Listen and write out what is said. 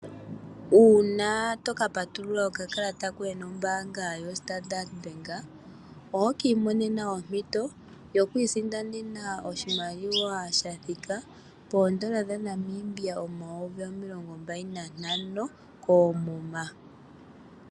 Uuna toka patulula okakalata koye nombaanga yo Standard Bank, ohoka imonena ompito yoku isindanena oshimaliwa sha thika poondola dhaNamibia omayovi omilongo mbali nantano koomuma.